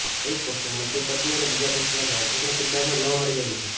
એક પોસ્ટરમાં તે પત્ની અને બીજા પોસ્ટરમાં જાસૂસનાં કિરદારમાં જોવા મળી રહી છે